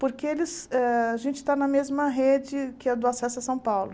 Porque eles ah a gente está na mesma rede que a do Acesso a São Paulo.